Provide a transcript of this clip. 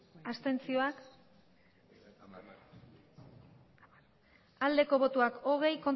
abstentzioa hogei